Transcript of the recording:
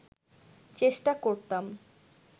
চেষ্টা করতাম